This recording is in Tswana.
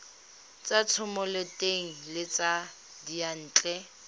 tsa thomeloteng le tsa diyantle